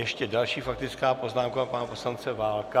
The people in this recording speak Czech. Ještě další faktická poznámka - pana poslance Válka.